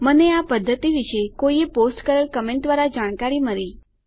મને આ પદ્ધતિ વિશે કોઈએ પોસ્ટ કરેલ કમેન્ટ દ્વારા જાણકારી મળી